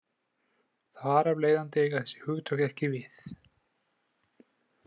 Þar af leiðandi eiga þessi hugtök ekki við.